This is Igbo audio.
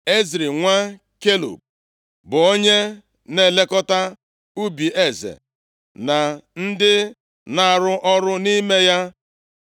Ezri nwa Kelub bụ onye na-elekọta ubi eze na ndị na-arụ ọrụ nʼime ya.